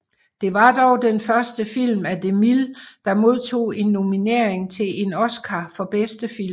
Det var den første film af DeMille der modtog en nominering til en Oscar for bedste film